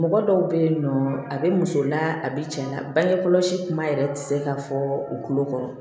Mɔgɔ dɔw bɛ yen nɔ a bɛ muso la a bɛ cɛ la bange kɔlɔsi kuma yɛrɛ tɛ se ka fɔ u tulo kɔrɔ